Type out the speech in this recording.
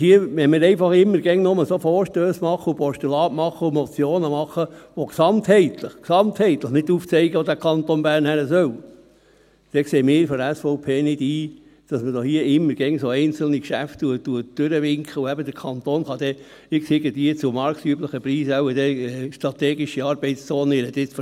Wenn wir einfach immer nur Vorstösse, Postulate und Motionen, machen, die gesamtheitlich nicht aufzeigen, wo der Kanton Bern hingehen sollte, dann sehen wir von der SVP nicht ein, dass man hier immer wieder einzelne Geschäfte durchwinkt und der Kanton dann in irgendeinem Gebiet zu marktüblichen Preisen wohl dann strategische Arbeitszonen kaufen kann.